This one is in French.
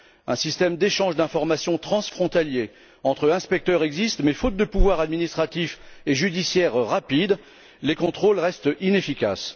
Un système d'échange d'informations transfrontalier entre inspecteurs existe mais faute de pouvoirs administratifs et judiciaires rapides, les contrôles restent inefficaces.